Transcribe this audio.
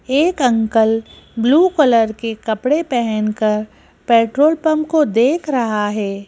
एक uncle blue colour के कपड़े पहनकर पेट्रोल पंप को देख रहा है।